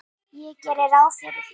Ég geri ráð fyrir því.